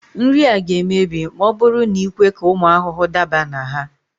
Nri a ga-emebi ma ọ bụrụ na i kwe ka ụmụ ahụhụ daba na ha